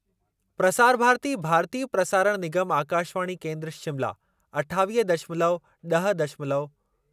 प्रसार भारती भारतीय प्रसारण निगम आकाशवाणी केन्द्र शिमला अठावीह दशमलव ॾह दशमलव